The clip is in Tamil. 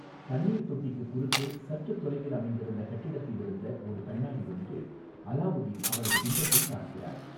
தண்ணீர் தொட்டிக்குக் குறுக்கே சற்று தொலைவில் அமைந்திருந்த கட்டிடத்திலிருந்த ஒரு கண்ணாடி வழியே அலாவுதீன் அவளது பிம்பத்தைப் பார்க்கிறார்.